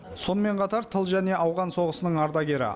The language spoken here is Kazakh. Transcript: сонымен қатар тыл және ауған соғысының ардагері